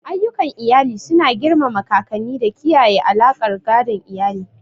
Ayyukan iyali suna girmama kakanni da kiyaye alaƙar gadon iyali.